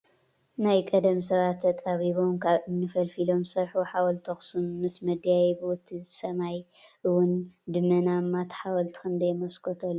ናይ ቀደም ስባት ተጣቢቦም ካብ እምኒ ፈልፊሎም ዝስርሕዎ ሓውልቲ ኣክሱም ምስ መደያይብኡ እቲ ስ። ማይ እዉ ድመናማ እታ ሓወልቲ ክንደይ መስኮት ኣለዋ።